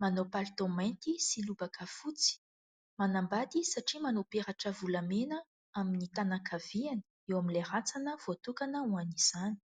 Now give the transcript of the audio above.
manao palitao mainty sy lobaka fotsy; manambady satria manao peratra volamena amin'ny tanana ankaviany eo amin'ilay rantsana voatokana ho an'izany.